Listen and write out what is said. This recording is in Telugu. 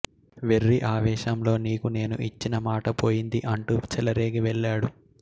వెర్రి అవేశంలో నీకు నేను ఇచ్చిన మాట పోయింది అంటూ చెలరేగి వెళ్ళాడు